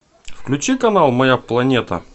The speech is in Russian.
включи канал моя планета